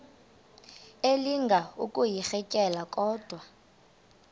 elinga ukuyirintyela kodwa